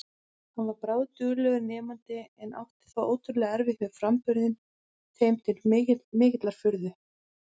Hann var bráðduglegur nemandi en átti þó ótrúlega erfitt með framburðinn, þeim til mikillar furðu.